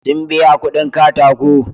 Sun biya kuɗin katako.